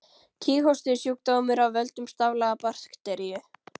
Kíghósti er sjúkdómur af völdum staflaga bakteríu.